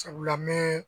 Sabula n bɛ